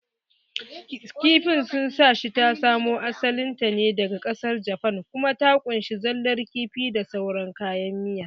Kifin Sushi ta samo asalin ta ne daga ƙasar Jafan kuma ta ƙunshi zallar kifi da saurar kayan miya